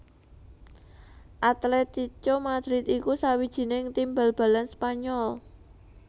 Atlético Madrid iku sawijining tim bal balan Spanyol